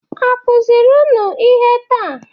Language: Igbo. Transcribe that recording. A kuziri unu ihe taa?